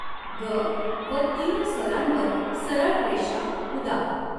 ग॒ व तीव्र स्वरांवर सरळ रेषा उदा.